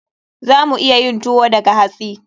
Za mu iya yin tuwo daga hatsi.